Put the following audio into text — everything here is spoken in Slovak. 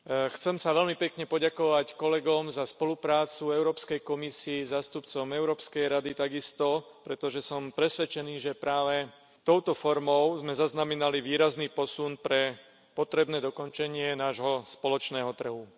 Chcem sa veľmi pekne poďakovať kolegom za spoluprácu, Európskej komisii, zástupcom Európskej rady takisto, pretože som presvedčený, že práve touto formou sme zaznamenali výrazný posun pre potrebné dokončenie nášho spoločného trhu.